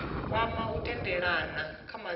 kwama u tendelana kha madzina